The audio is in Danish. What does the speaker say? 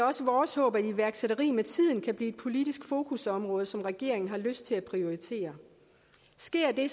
også vores håb at iværksætteri med tiden kan blive et politisk fokusområde som regeringen har lyst til at prioritere sker det